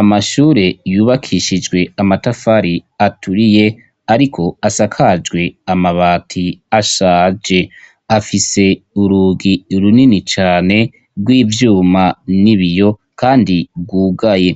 Amashure yubakishije amatafari aturiye, ariko asakajwe amabati ashaje, afise urugi runini cane rw'ivyuma n'ibiyo kandi rwugaye